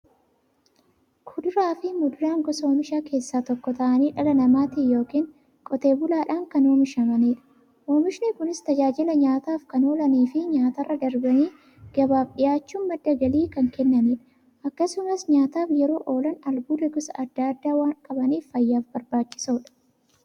Kuduraafi muduraan gosa oomishaa keessaa tokko ta'anii, dhala namaatin yookiin Qotee bulaadhan kan oomishamaniidha. Oomishni Kunis, tajaajila nyaataf kan oolaniifi nyaatarra darbanii gabaaf dhiyaachuun madda galii kan kennaniidha. Akkasumas nyaataf yeroo oolan, albuuda gosa adda addaa waan qabaniif, fayyaaf barbaachisoodha.